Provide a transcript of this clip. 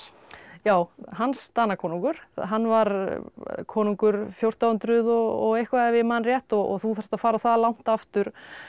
já Hans Danakonungur hann var konungur fjórtán hundruð og eitthvað ef ég man rétt þú þarft að fara það langt aftur